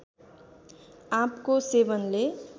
आँपको सेवनले